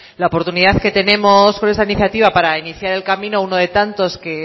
la oportunidad que tenemos con esta iniciativa para iniciar el camino uno de tantos que